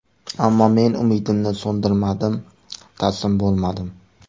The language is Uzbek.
Ammo, men umidimni so‘ndirmadim, taslim bo‘lmadim!